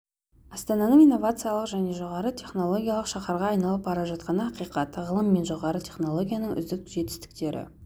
астананың инновациялық және жоғары технологиялық шаһарға айналып бара жатқаны ақиқат ғылым мен жоғары технологияның үздік жетістіктері